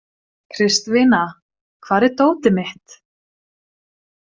Kristvina, hvar er dótið mitt?